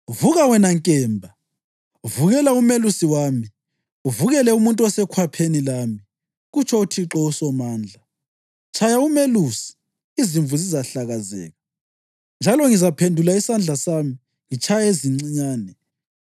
Vuka, wena nkemba, vukela umelusi wami, uvukele umuntu osekhwapheni lami!” kutsho uThixo uSomandla. “Tshaya umelusi, izimvu zizahlakazeka, njalo ngizaphendula isandla sami ngitshaye ezincinyane.